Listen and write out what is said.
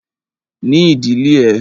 Ní ìdílé ẹ!